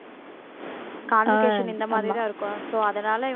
conversation இந்த மாதிரிதான் இருக்கும் so அதனால